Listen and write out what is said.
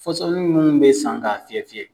Fɔsɔni minnu bɛ san k'a fiyɛ fiyɛ.